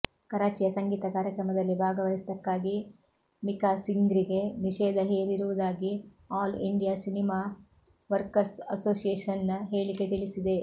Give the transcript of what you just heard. ಕರಾಚಿಯ ಸಂಗೀತ ಕಾರ್ಯಕ್ರಮದಲ್ಲಿ ಭಾಗವಹಿಸಿದ್ದಕ್ಕಾಗಿ ಮಿಖಾ ಸಿಂಗ್ರಿಗೆ ನಿಷೇಧ ಹೇರಿರುವುದಾಗಿ ಆಲ್ ಇಂಡಿಯ ಸಿನಿಮಾ ವರ್ಕರ್ಸ್ ಅಸೋಸಿಯೇಶನ್ನ ಹೇಳಿಕೆ ತಿಳಿಸಿದೆ